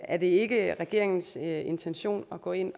er det ikke regeringens intention at gå ind